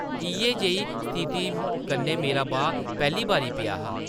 इʼयै जेही स्थिति कन्नै मेरा बाह् पैह्ली बारी पेआ हा ।